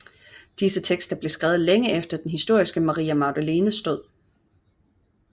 Disse tekster blev skrevet længe efter den historiske Maria Magdalenes død